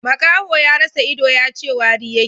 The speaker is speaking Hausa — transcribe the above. Makaho ya rasa ido, yace wari yake